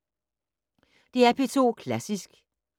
DR P2 Klassisk